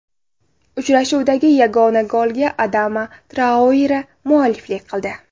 Uchrashuvdagi yagona golga Adama Traore mualliflik qildi.